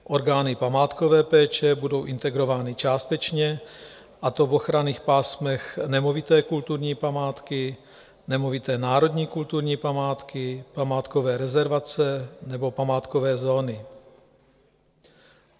Orgány památkové péče budou integrovány částečně, a to v ochranných pásmech nemovité kulturní památky, nemovité národní kulturní památky, památkové rezervace nebo památkové zóny.